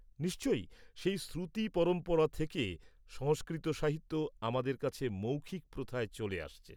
-নিশ্চয়ই। সেই শ্রুতি পরম্পরা থেকে সংস্কৃত সাহিত্য আমাদের কাছে মৌখিক প্রথায় চলে আসছে।